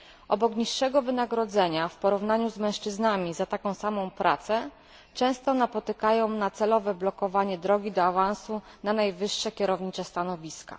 Obok niższego wynagrodzenia w porównaniu z mężczyznami za taką samą pracę często napotykają celowe blokowanie drogi do awansu na najwyższe kierownicze stanowiska.